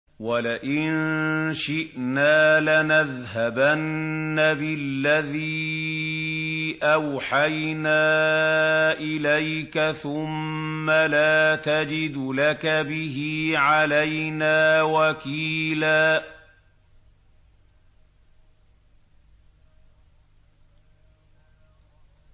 وَلَئِن شِئْنَا لَنَذْهَبَنَّ بِالَّذِي أَوْحَيْنَا إِلَيْكَ ثُمَّ لَا تَجِدُ لَكَ بِهِ عَلَيْنَا وَكِيلًا